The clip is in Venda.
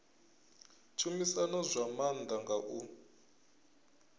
tshumisano zwa maanḓa nga u